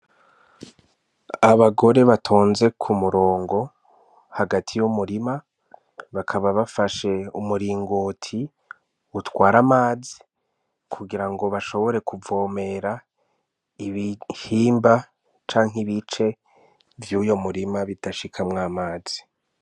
Abagore batonze ku murongo hagati y'umurima bakaba bafashe umuringoti utwara amazi kugira ngo bashobore kuvomera ibihimba canke ibice vy'uyo murima bidashikamwo amazi.